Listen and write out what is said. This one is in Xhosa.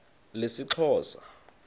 lesixhosa